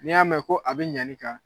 N' y'a mɛn ko a be ɲani kan